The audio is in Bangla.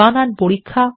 বানান পরীক্ষা